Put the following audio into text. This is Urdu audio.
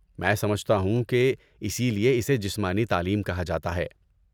میں سمجھتا ہوں کہ اسی لیے اسے جسمانی تعلیم کہا جاتا ہے۔